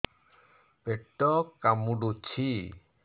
ପେଟ କାମୁଡୁଛି